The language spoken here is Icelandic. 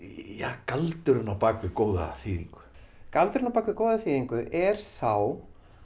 galdurinn á bak við góða þýðingu galdurinn á bak við góða þýðingu er sá